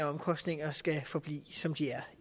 omkostninger skal forblive som de er